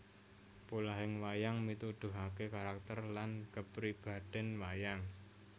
Polahing wayang mituduhake karakter lan kapribaden wayang